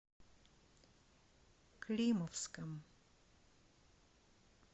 климовском